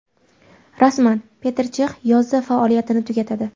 Rasman: Peter Chex yozda faoliyatini tugatadi.